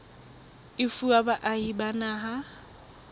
e fuwa baahi ba naha